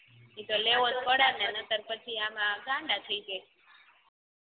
ઇ તો લેવોજ પડેને નતર પછી આમાં ગાંડા થઈ જવી